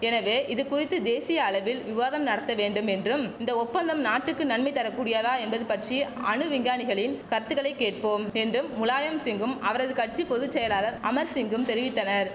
எனவே இது குறித்து தேசிய அளவில் விவாதம் நடத்த வேண்டும் என்றும் இந்த ஒப்பந்தம் நாட்டுக்கு நன்மை தரக்கூடியதா என்பது பற்றி அணு விஞ்ஞானிகளின் கருத்துக்களை கேட்போம் என்றும் முலாயம்சிங்கும் அவரது கட்சி பொது செயலர் அமர்சிங்கும் தெரிவித்தனர்